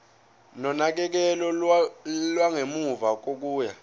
nonakekelo lwangemuva kokuya